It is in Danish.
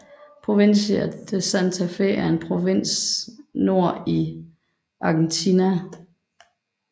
Provincia de Santa Fe er en provins nord i Argentina